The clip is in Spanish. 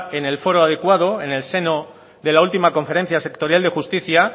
en el foro adecuado en el seno de la última conferencia sectorial de justicia